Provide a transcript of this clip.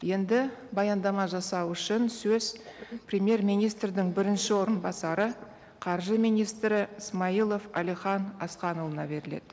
енді баяндама жасау үшін сөз премьер министрдің бірінші орынбасары қаржы министрі смайылов әлихан асқанұлына беріледі